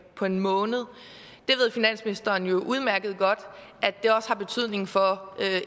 på en måned finansministeren ved jo udmærket godt at det også har betydning for